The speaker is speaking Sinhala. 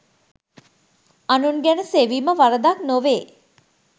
අනුන් ගැන සෙවීම වරදක් නොවේ.